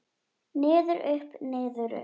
Niður, upp, niður upp.